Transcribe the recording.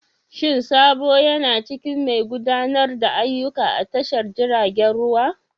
Shin Sabo yana cikin mai gudanar da ayyuka a tashar jiragen ruwa?